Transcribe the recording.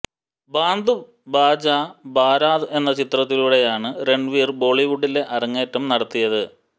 ബാന്ദ് ബാജ ബാരാത് എന്ന ചിത്രത്തിലൂടെയാണ് രണ്വീര് ബോളിവുഡില് അരങ്ങേറ്റം നടത്തിയത്